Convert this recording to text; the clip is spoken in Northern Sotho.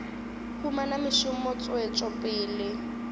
humana mešomo tswetšo pele ya